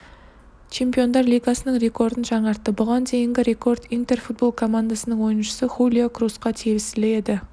чемпиондар лигасының рекордын жаңартты бұған дейінгі рекорд интер футбол командасының ойыншысы хулио крусқа тиесілі еді